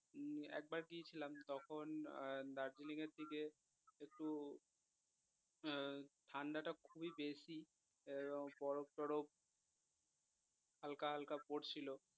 উম একবার গিয়েছিলাম তখন আহ দার্জিলিংয়ের দিকে একটু আহ ঠান্ডাটা খুবই বেশি এবং বরফ টরফ হালকা হালকা পড়ছিলো